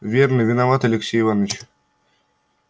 верно виноват алексей иваныч